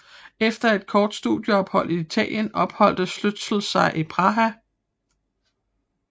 Efter et kort studieophold i Italien opholdt Stölzel sig i Praha